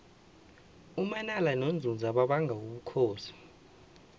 umanala nonzunza babanga ubukhosi